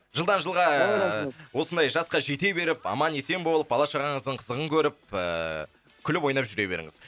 жылдан жылға ыыы ой рахмет осындай жасқа жете беріп аман есен болып бала шағаңыздың қызығын көріп ііі күліп ойнап жүре беріңіз